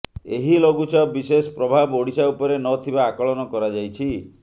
ଏହି ଲଘୁଚାପ ବିଶେଷ ପ୍ରଭାବ ଓଡିଶା ଉପରେ ନଥିବା ଆକଳନ କରାଯାଇଛି